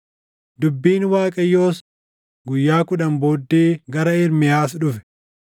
Dubbiin Waaqayyoos guyyaa kudhan booddee gara Ermiyaas dhufe.